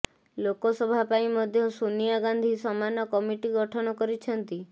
ଲୋକସଭା ପାଇଁ ମଧ୍ୟ ସୋନିଆ ଗାନ୍ଧୀ ସମାନ କମିଟି ଗଠନ କରିଛନ୍ତି